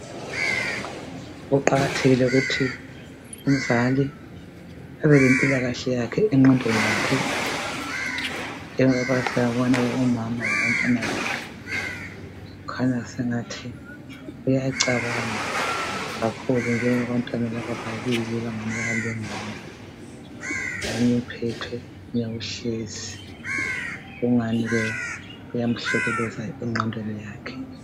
Kuqakathekile ukuthi umzali abelempilakahle yakhe engqondweni yakhe njengoba siyabona ke umama labantwana bakhe. Kukhanya sengathi uyacabanga kakhulu njengoba abantwana laba babili bengani bayalingana omunye uphethwe omunye uhlezi kungani ke kuyamhlukuluza engqondweni yakhe.